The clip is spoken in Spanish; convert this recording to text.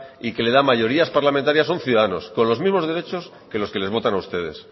y que le da mayorías parlamentarias son ciudadanos con los mismos derechos que los que les votan a ustedes